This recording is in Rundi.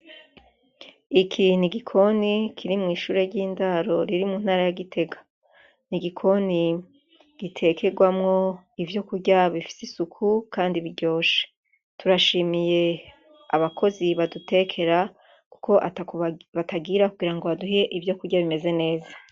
Iki n'igikoni kiri mw'ishure ry'indaro riri mu ntara ya Gitega, n'igikoni gitekerwamwo ivyo kurya bifise isuku Kandi biryoshe ,turashimiye abakozi badutekera kuko atako batagira kugira baduhe ivyo kurya bimeze neza.